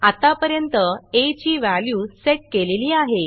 आत्तापर्यंत आ ची व्हॅल्यू सेट केलेली आहे